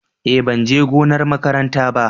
Eh ban je gonar makaranta ba.